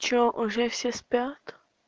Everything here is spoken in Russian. что уже все спят